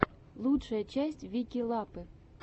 лучшая часть вики лапы